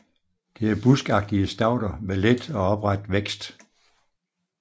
Det er buskagtige stauder med let og opret vækst